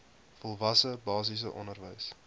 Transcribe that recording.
volwasse basiese onderwys